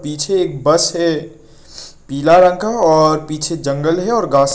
पीछे एक बस है पीला रंग का और पीछे जंगल है और घास--